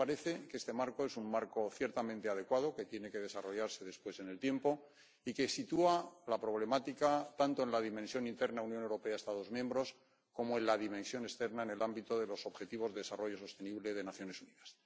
A mí me parece que este marco es un marco ciertamente adecuado que tiene que desarrollarse después en el tiempo y que sitúa la problemática, tanto en la dimensión interna Unión Europea Estados miembros como en la dimensión externa en el ámbito de los objetivos de desarrollo sostenible de las Naciones Unidas.